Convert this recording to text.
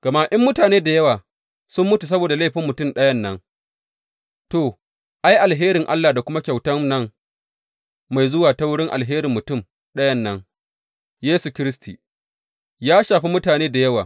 Gama in mutane da yawa sun mutu saboda laifin mutum ɗayan nan, to, ai, alherin Allah da kuma kyautan nan mai zuwa ta wurin alherin mutum ɗayan nan, Yesu Kiristi, ya shafi mutane da yawa!